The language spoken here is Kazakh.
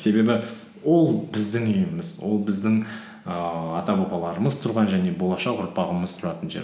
себебі ол біздің үйіміз ол біздің ііі ата бабаларымыз тұрған және болашақ ұрпағымыз тұратын жер